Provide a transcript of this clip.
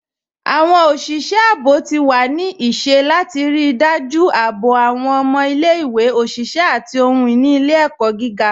Awọn oṣiṣẹ àbọ̀ ti wà ní ìṣẹ̀ látì ríí dájú àbọ̀ awọn ọmọ ilẹ̀-ìwé, oṣiṣẹ̀, àti ohun-ini ilẹ̀-ẹkọ gígá